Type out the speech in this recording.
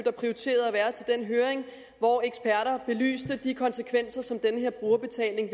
der prioriterede at være til den høring hvor eksperter belyste de konsekvenser som den her brugerbetaling